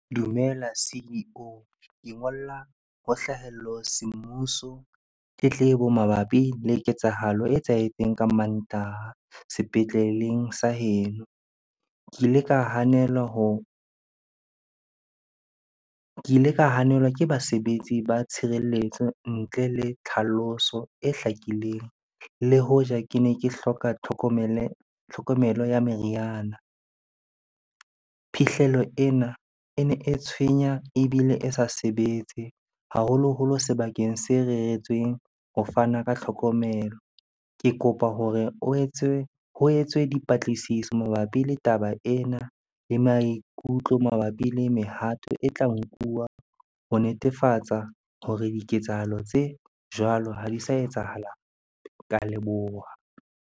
Dumela C_E_O. Ke ngolla ho semmuso tletlebo mabapi le ketsahalo e etsahetseng ka Mantaha sepetleleng sa heno. Ke ile ka hanelwa ke ile ka hanelwa ke basebetsi ba tshireletso ntle le tlhaloso e hlakileng le hoja ke ne ke hloka tlhokomelo ya meriana. Phihlelo ena e ne e tshwenya ebile e sa sebetse haholoholo sebakeng se reretsweng ho fana ka tlhokomelo. Ke kopa hore o etse, ho etswe dipatlisiso mabapi le taba ena le maikutlo mabapi le mehato e tla nkuwa ho netefatsa hore diketsahalo tse jwalo ha di sa etsahala. Ke a leboha.